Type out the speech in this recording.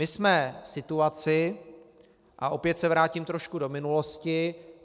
My jsme v situaci - a opět se vrátím trošku do minulosti.